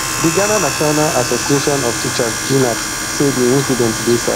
di ghana national association of teachers gnat say di incident dey sad